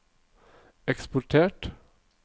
eksportert